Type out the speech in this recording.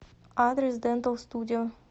адрес дентал студио